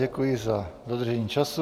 Děkuji za dodržení času.